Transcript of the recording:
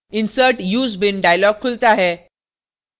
insert use bean dialog खुलता है